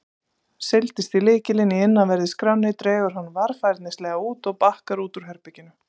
Seilist í lykilinn í innanverðri skránni, dregur hann varfærnislega út og bakkar út úr herberginu.